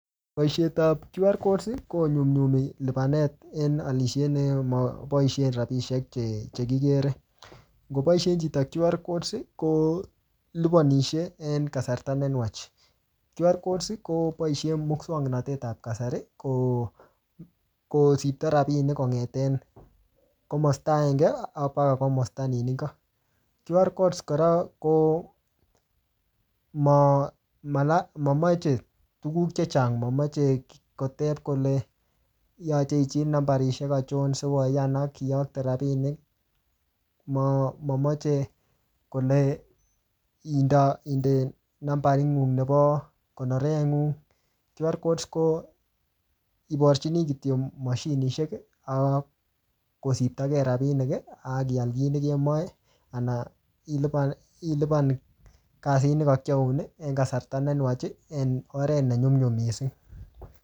Boisiet ap QR codes, konyumnyumi lipanet en alisiet nemaboisie rabisiek che che kikere. Ngoboisen chito QR codes, kolipanishe en kasarta ne nwach. QR codes, koboise muswagnatet ap kasari, kosibto rabinik kongeten komasta agenge, ak mpaka komasta nin ingo. QR codes kora, komamache tuguk chechang, mamache kotep kole yache ijil nambarisiek ochon sikoyan akiyokte rabinik. Ma-mamoche kole indo-inde nambarit ng'ung nebo konoret ng'ung. QR codes ko iporchini kityo mashinishek, ak kosirtokei rabinik, akial kiy nekemache, anan ilipan-ilipan kasit ne kakiyoun en kasarta ne nwach, en oret ne nyumnyum missing